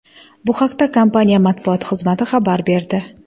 Bu haqda kompaniya matbuot xizmati xabar berdi .